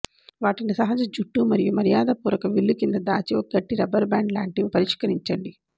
వాటిని సహజ జుట్టు మరియు మర్యాదపూర్వక విల్లు కింద దాచి ఒక గట్టి రబ్బరు బ్యాండ్ లాంటివే పరిష్కరించండి